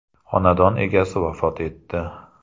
Xonadon egasi vafot etdi.